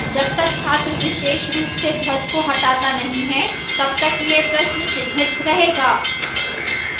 जब तक छात्र विशेष रूप से ध्वज को हटाता नहीं है तब तक यह प्रश्न चिह्नित रहेगा